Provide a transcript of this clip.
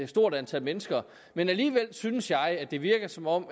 stort antal mennesker men alligevel synes jeg det virker som om